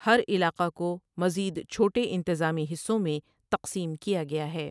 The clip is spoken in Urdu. ہر علاقہ کو مزید چھوٹے انتظامی حصوں میں تقسیم کیا گیا ہے ۔